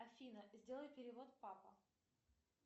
афина сделай перевод папа